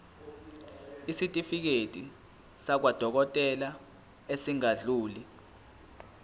isitifiketi sakwadokodela esingadluli